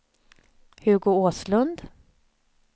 Hugo Åslund